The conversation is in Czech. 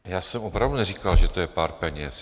Já jsem opravdu neříkal, že to je pár peněz.